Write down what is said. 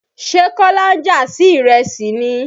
Ṣé kọ́lá ń jà sí ìrẹsì ni?